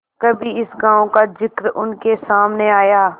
कभी इस गॉँव का जिक्र उनके सामने आया